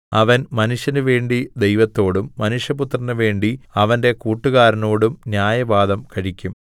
അവൻ മനുഷ്യന് വേണ്ടി ദൈവത്തോടും മനുഷ്യപുത്രന് വേണ്ടി അവന്റെ കൂട്ടുകാരനോടും ന്യായവാദം കഴിക്കും